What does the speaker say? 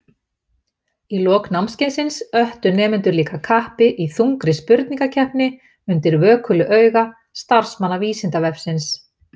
Í lok námskeiðsins öttu nemendur líka kappi í þungri spurningakeppni undir vökulu auga starfsmanna Vísindavefsins.